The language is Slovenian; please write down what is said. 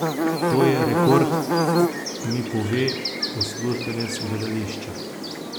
To je rekord, mi pove uslužbenec gledališča.